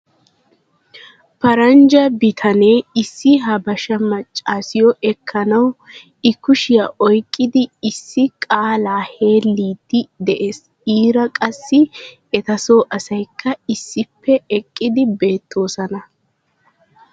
Paranjja bitanee issi habashsha maccaassiyo ekkanawu i kushshiya oyqqidi issi qaalaa heliidi des iira qassi etasoo asaykka issippe eqqidi beetoosona.